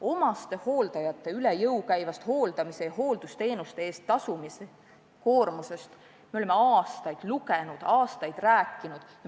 Omastehooldajate üle jõu käivast hooldamise ja hooldusteenuste eest tasumise koormusest me oleme aastaid lugenud, aastaid rääkinud.